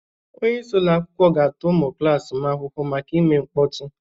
Onye isi ụlọ akwụkwọ ga-ata ụmụ klas m ahụhụ maka ime mkpọtụ